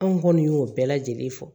Anw kɔni y'o bɛɛ lajɛlen fɔ